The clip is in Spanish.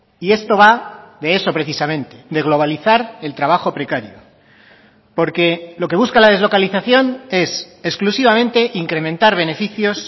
y esto va de eso precisamente de globalizar el trabajo precario porque lo que busca la deslocalización es exclusivamente incrementar beneficios